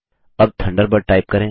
अब Thunderbird type करें